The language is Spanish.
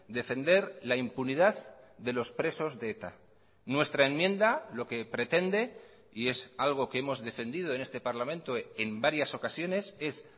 defender la impunidad de los presos de eta nuestra enmienda lo que pretende y es algo que hemos defendido en este parlamento en varias ocasiones es